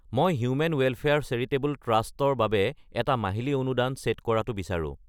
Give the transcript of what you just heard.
মই human welfare charitable trust ৰ বাবে এটা মাহিলি অনুদান চে'ট কৰাটো বিচাৰো।